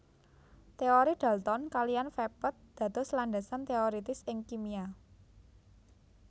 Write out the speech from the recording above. Teori dalton kaliyan vepet dados landasan teoiritis ing kimia